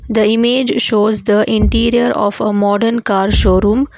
the image shows the interior of a modern car showroom.